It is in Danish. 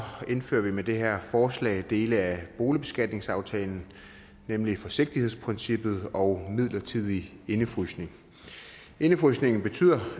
indfører vi med det her forslag dele af boligbeskatningsaftalen nemlig forsigtighedsprincippet og den midlertidige indefrysning indefrysningen betyder